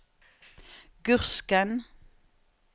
Gursken